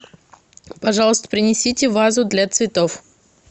пожалуйста принесите вазу для цветов